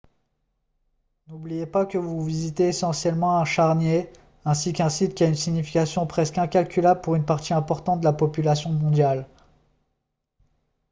n'oubliez pas que vous visitez essentiellement un charnier ainsi qu'un site qui a une signification presque incalculable pour une partie importante de la population mondiale